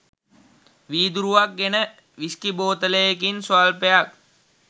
වීදුරුවක් ගෙන විස්කි බෝතලයකින් ස්වල්පයක්